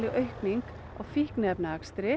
aukning á